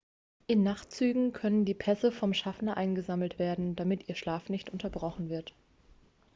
in nachtzügen können die pässe vom schaffner eingesammelt werden damit ihr schlaf nicht unterbrochen wird